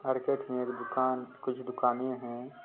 Market में एक दुकान कुछ दुकानें है।